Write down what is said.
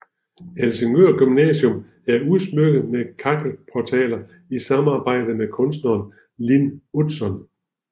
Helsingør Gymnasium er udsmykket med kakkelportaler i samarbejde med kunstneren Lin Utzon